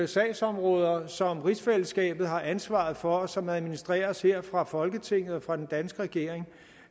sagsområder som rigsfællesskabet har ansvaret for og som administreres her fra folketinget og fra den danske regerings